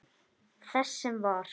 Þess sem var.